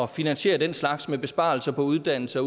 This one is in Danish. finansiere den slags med besparelser på uddannelser